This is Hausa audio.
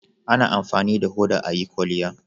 A na amfani da hoda a yi kwalliya